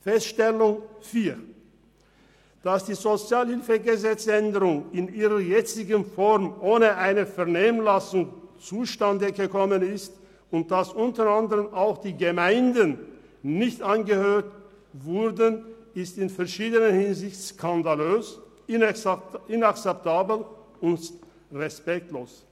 Vierte Feststellung: Dass die SHG-Änderung in ihrer jetzigen Form ohne eine Vernehmlassung zustande gekommen ist und dass unter anderem auch die Gemeinden nicht angehört wurden, ist in verschiedener Hinsicht skandalös, inakzeptabel und respektlos.